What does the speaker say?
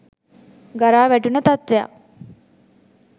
ගරා වැටුණ තත්ත්වයක්.